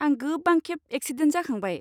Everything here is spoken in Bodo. आं गोबां खेब एक्सिडेन्ट जाखांबाय।